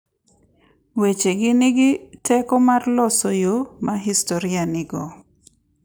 Wechegi nigi teko mar loso yo ma historia dhigo .